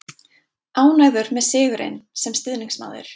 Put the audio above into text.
Ánægður með sigurinn, sem stuðningsmaður.